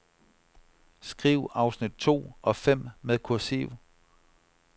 Skriv afsnit to og fem med kursiv.